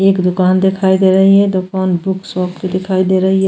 एक दुकान दिखाई दे रही है दुकान बुक शॉप की दिखाई दे रही है।